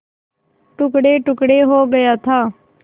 टुकड़ेटुकड़े हो गया था